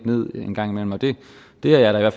en gang imellem og det er der